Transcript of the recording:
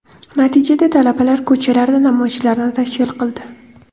Natijada talabalar ko‘chalarda namoyishlarni tashkil qildi.